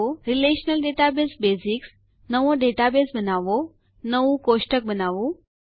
relational database basics નવો database બનાવવો નવું કોષ્ટક બનાવવું